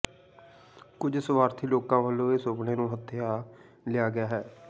ਕੁਝ ਸਵਾਰਥੀ ਲੋਕਾਂ ਵਲੋਂ ਇਸ ਸੁਪਨੇ ਨੂੰ ਹਥਿਆ ਲਿਆ ਗਿਆ ਹੈ